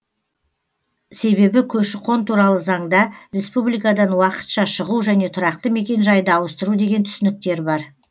себебі көші қон туралы заңда республикадан уақытша шығу және тұрақты мекенжайды ауыстыру деген түсініктер бар